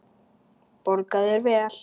Borga þeir vel?